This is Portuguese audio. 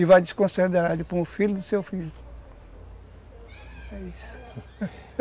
E vai desconsiderar ele para um filho do seu filho, é isso.